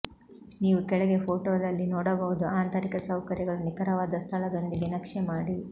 ನೀವು ಕೆಳಗೆ ಫೋಟೋದಲ್ಲಿ ನೋಡಬಹುದು ಆಂತರಿಕ ಸೌಕರ್ಯಗಳು ನಿಖರವಾದ ಸ್ಥಳದೊಂದಿಗೆ ನಕ್ಷೆ ಮಾಡಿ